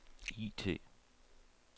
IT